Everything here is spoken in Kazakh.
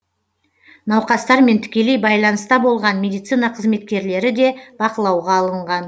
науқастармен тікелей байланыста болған медицина қызметкерлері де бақылауға алынған